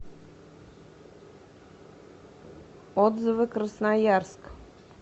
отзывы красноярск